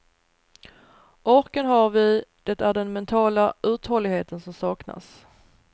Orken har vi, det är den mentala uthålligheten som saknas.